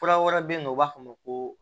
Fura wɛrɛ bɛ yen nɔ u b'a fɔ a ma ko